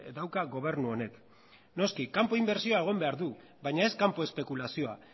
dauka gobernu honek noski kanpo inbertsioa egon behar du baina ez kanpo espekulazioa